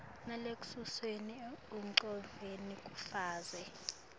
nalesuselwe engcondvweni kufeza